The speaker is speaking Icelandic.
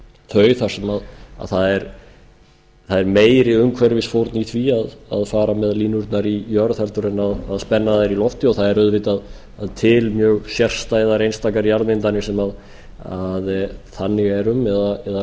þau þar sem það er meiri umhverfisfórn í því að fara með línurnar í jörð heldur en að spenna þær í loftið og það er auðvitað til mjög sérstæðar einstakar jarðmyndanir sem þannig er um eða